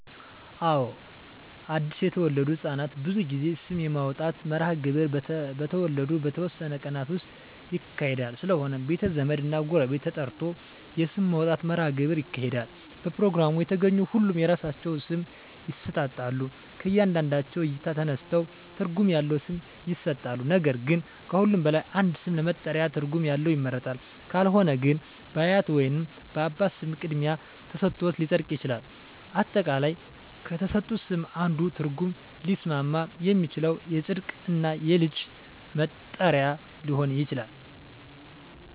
አወ አድሰ የተወለዱ ህፃናት ብዙ ጊዜ ስም የማውጣት መርሀ ግብር በተወለዱ በተወሠኑ ቀናት ውስጥ ይካሄዳል ስለሆነም ቤተ ዘመድ እና ጎረቤት ተጠርቶ የስም ማውጣት መራሀ ግብር ይካሄዳል በፕሮግራሙ የተገኙ ሁሉም የራሳቸውን ስም ይሠጣሎ ከእያንዳንዳቸው እይታ ተነስተው ትርጉም ያለው ስም ይሠጣሉ ነገር ግን ከሁሉም በላይ አንድ ስም ለመጠሪያ ትርጉም ያለው ይመረጣል ካልሆነ ግን በአያት ወይንም በአባት ስም ቅድሚያ ተሠጥቶት ሊፀድቅ ይችላል። አጠቃላይ ከተሠጡት ስም አንዱ ትርጉም ሊስማማ የሚችለው ይፀድቅ እና የልጁ መጠሪ ሊሆን ይችላል